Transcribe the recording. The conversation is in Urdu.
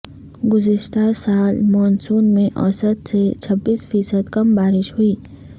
گزشتہ سال مون سون میں اوسط سے چھبیس فی صد کم بارش ہوئی